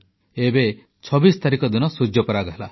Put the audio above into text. ଏବେ 26 ତାରିଖ ଦିନ ସୂର୍ଯ୍ୟପରାଗ ହେଲା